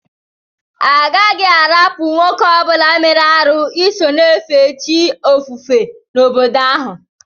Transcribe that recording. Adighi arapu nwoke obula mere arụ iso na efe chi ofufe na obodo ahu.